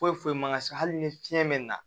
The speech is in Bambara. Foyi foyi man ka se hali ni fiɲɛ bɛ na